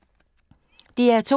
DR2